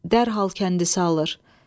Dərhal kəndis alır.